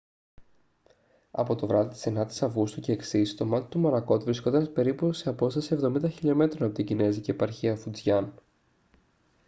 από το βράδυ της 9ης αυγούστου και εξής το μάτι του μορακότ βρισκόταν περίπου σε απόσταση εβδομήντα χιλιομέτρων από την κινεζική επαρχία φουτζιάν